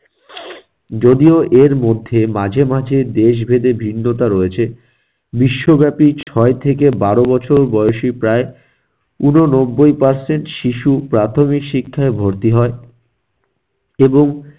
যদিও এর মধ্যে মাঝে মাঝে দেশ ভেদে ভিন্নতা রয়েছে, বিশ্বব্যাপী ছয় থেকে বারো বছর বয়সী প্রায় ঊননব্বই percent শিশু প্রাথমিক শিক্ষায় ভর্তি হয়। এবং